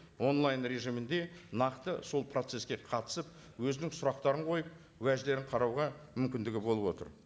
онлайн режимінде нақты сол процесске қатысып өзінің сұрақтарын қойып уәждерін қарауға мүмкіндігі болып отыр